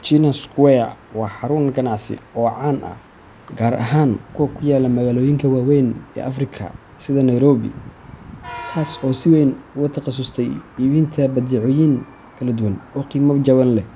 China Square waa xarun ganacsi oo caan ah, gaar ahaan kuwa ku yaalla magaalooyin waaweyn ee Afrika sida Nairobi, taas oo si weyn ugu takhasustay iibinta badeecooyin kala duwan oo qiimo jaban leh,